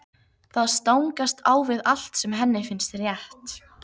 Það stangast á við allt sem henni finnst rétt.